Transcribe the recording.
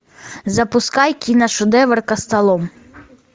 запускай киношедевр костолом